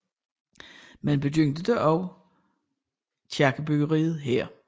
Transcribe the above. Man begyndte da også kirkebyggeriet her